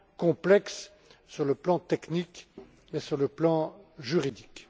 complexe, sur le plan technique et sur le plan juridique.